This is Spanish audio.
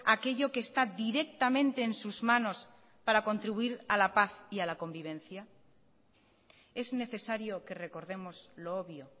aquello que está directamente en sus manos para contribuir a la paz y a la convivencia es necesario que recordemos lo obvio